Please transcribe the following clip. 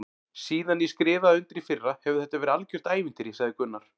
Síðan ég skrifaði undir í fyrra hefur þetta verið algjört ævintýri sagði Gunnar.